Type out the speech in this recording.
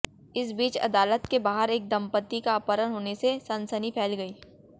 इस बीच अदालत के बाहर एक दंपती का अपहरण होने से सनसनी फैल गई